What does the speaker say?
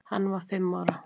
Hann var fimm ára.